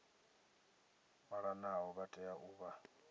malanaho vha tea u vha